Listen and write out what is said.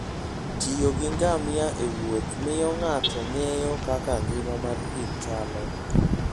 tiyo gi ngamia ewuoth miyo ng'ato ng'eyo kaka ngima mar thim chalo.